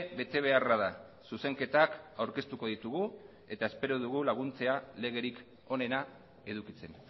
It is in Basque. betebeharra da zuzenketak aurkeztuko ditugu eta espero dugu laguntzea legerik onena edukitzen